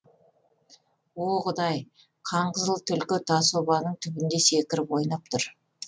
о құдай қанқызыл түлкі тас обаның түбінде секіріп ойнап тұр